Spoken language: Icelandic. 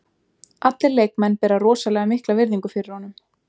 Allir leikmenn bera rosalega mikla virðingu fyrir honum.